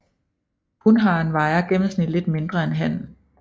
Hunharen vejer gennemsnitlig lidt mindre end hannen